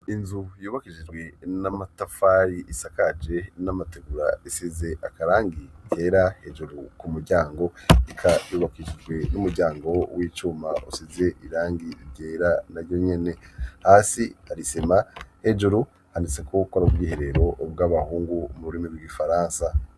Inzu yubakijijwe n'amatafari isakaje n'amategura isize akarangi kera hejuru ku muryango, eka yubakishijwe n'umuryango w'icuma usize irangi igera na ryonyene hasi arisema hejuru haniseko gukora ubwiherero bw'abahungu mu burimi bw'ifaransa.